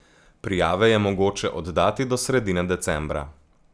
Prijave je mogoče oddati do sredine decembra.